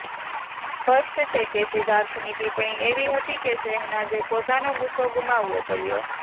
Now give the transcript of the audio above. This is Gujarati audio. સ્પષ્ટ છે કે સિદ્ધાર્થની ટિપ્પણી એવી હતી કે શહનાઝે પોતાનો ગુસ્સો ગુમાવવો પડ્યો